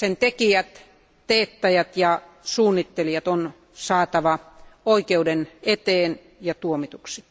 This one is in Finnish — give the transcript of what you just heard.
Sen tekijät, teettäjät ja suunnittelijat on saatava oikeuden eteen ja tuomituiksi.